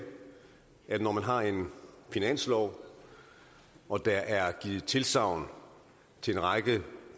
at når man har en finanslov og der er givet tilsagn til en række